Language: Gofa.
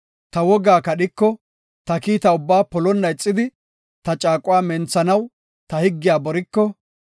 ta wogaa kadhiko, ta kiita ubbaa polonna ixidi ta caaquwa menthanaw ta higgiya boriko,